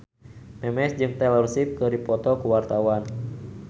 Memes jeung Taylor Swift keur dipoto ku wartawan